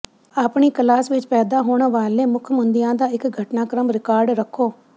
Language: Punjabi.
ਆਪਣੀ ਕਲਾਸ ਵਿੱਚ ਪੈਦਾ ਹੋਣ ਵਾਲੇ ਮੁੱਖ ਮੁੱਦਿਆਂ ਦਾ ਇੱਕ ਘਟਨਾਕ੍ਰਮ ਰਿਕਾਰਡ ਰੱਖੋ